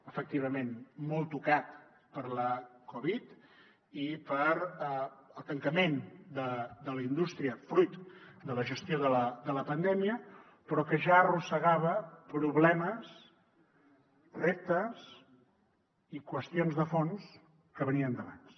efectivament molt tocat per la covid i pel tancament de la indústria fruit de la gestió de la pandèmia però que ja arrossegava problemes reptes i qüestions de fons que venien d’abans